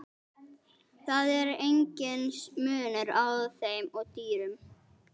Það er enginn munur á þeim og dýrum.